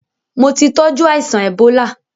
Mo ti tọ́jú aìsàn èbólá.